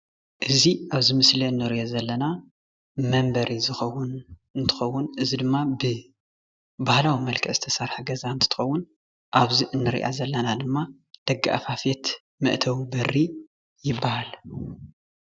እዚ ኣብ ምስሊ ንሪኦ ዘለና መንበሪ ዝከውን እንትከውን እዚ ድማ ብባሃለዊ መልክዕ ዝተሰርሐ ገዛ እንትከውን ኣብ እዚ ንርኣ ዘለና ድማ ደጋኣፋፈት መእተዊ በሪ ይበሃል።